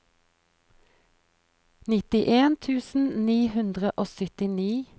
nittien tusen ni hundre og syttini